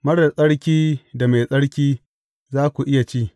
Marar tsarki da mai tsarki, za ku iya ci.